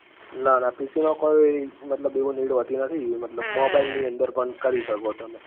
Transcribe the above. ના ના PC માં કોઈ, મતલબ એવું need હોતી નથી મતલબ, mobile ની અંદર પણ કરી શકો તમે